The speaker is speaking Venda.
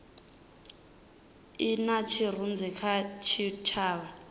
i na tshirunzi kha tshitshavha